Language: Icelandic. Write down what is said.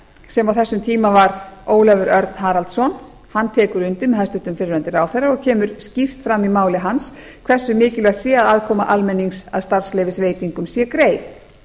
sem á þessum tíma var ólafur örn haraldsson tekur undir með hæstvirtur fyrrverandi ráðherra og kemur skýrt fram í máli hans hversu mikilvægt sé að aðkoma almennings að starfsleyfisveitingum sé greið